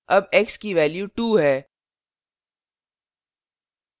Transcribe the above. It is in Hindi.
अब x की value 2 है